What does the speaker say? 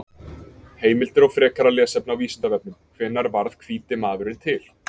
Heimildir og frekara lesefni á Vísindavefnum: Hvenær varð hvíti maðurinn til?